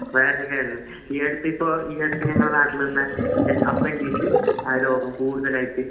വയറിന് കേടാണ് ഈ അടുത്തിപ്പോ ഈ അടുത്ത് ഞങ്ങളെ നാട്ടിൽ തന്നെ അപ്പെൻഡിസ് ആ രോഗം കൂടുതലായിട്ട്